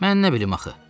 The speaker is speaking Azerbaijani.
Mən nə bilim axı?